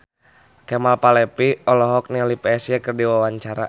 Kemal Palevi olohok ningali Psy keur diwawancara